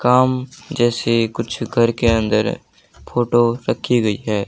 काम जैसे कुछ घर के अंदर फोटो रखी गई है।